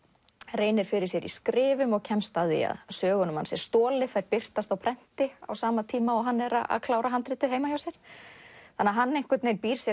reynir fyrir sér í skrifum og kemst að því að sögunum hans er stolið þær birtast á prenti á sama tíma og hann er að klára handritið heima hjá sér þannig að hann býr sér